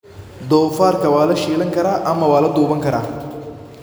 Doofaarka waa la shiilan karaa ama waa la duban karaa.